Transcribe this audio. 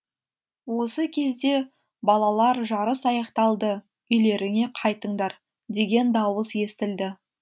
осы кезде балалар жарыс аяқталды үйлеріңе қайтыңдар деген дауыс естілді